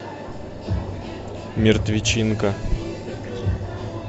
мертвечинка